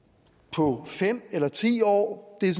på fem eller ti år det er